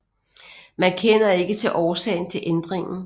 Man kender ikke til årsagen til ændringen